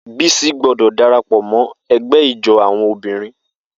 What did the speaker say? Bisi gbọdọ darapọ mọ ẹgbẹ ijó awọn obinrin.